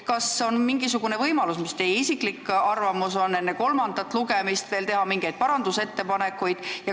Mis on teie isiklik arvamus, kas on mingisugune võimalus enne kolmandat lugemist veel teha mingeid parandusettepanekuid?